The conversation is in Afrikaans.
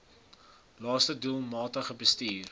laste doelmatig bestuur